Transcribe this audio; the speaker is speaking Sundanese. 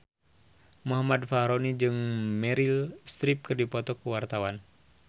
Muhammad Fachroni jeung Meryl Streep keur dipoto ku wartawan